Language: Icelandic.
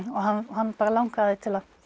hann bara langaði